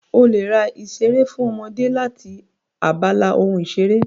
O lè ra ìṣeré fún ọmọdé láti abala ohun ìṣeré